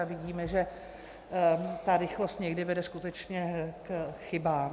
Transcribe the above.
A vidíme, že ta rychlost někdy vede skutečně k chybám.